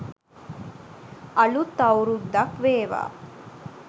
අලුත් අවුරුද්දක් වේවා.